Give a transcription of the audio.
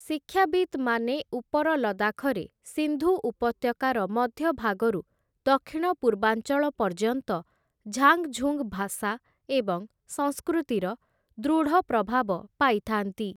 ଶିକ୍ଷାବିତ୍‌ମାନେ, ଉପର ଲଦାଖରେ, ସିନ୍ଧୁ ଉପତ୍ୟକାର ମଧ୍ୟଭାଗରୁ ଦକ୍ଷିଣ ପୂର୍ବାଞ୍ଚଳ ପର୍ଯ୍ୟନ୍ତ ଝାଙ୍ଗଝୁଙ୍ଗ ଭାଷା ଏବଂ ସଂସ୍କୃତିର, ଦୃଢ଼ ପ୍ରଭାବ ପାଇଥାନ୍ତି ।